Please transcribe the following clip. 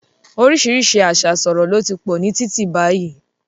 Orísìírísìí àṣà ìṣọ̀rọ̀ ló ti pọ̀ ní títì báyìí